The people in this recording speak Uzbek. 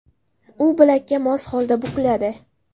U bilakka mos holda bukiladi.